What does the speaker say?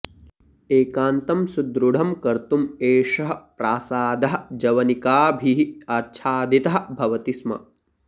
एकान्तं सुदृढं कर्तुम् एषः प्रासादः जवनिकाभिः आच्छादितः भवति स्म